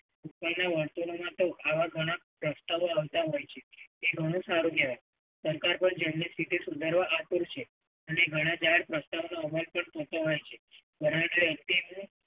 બને વર્તુળોમાં તો આવા ઘણા રમતા હોય છે. એ ઘણું સારું કેવાય. કંકર પણ એમની સ્થિતિ સુધારવા આતુર છે અને ઘણા દાડ પ્રશ્ન નો અમલ પણ થતો હોય છે. વરડે એકતિમુ